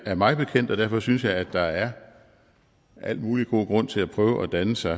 er mig bekendt og derfor synes jeg at der er al mulig god grund til at prøve at danne sig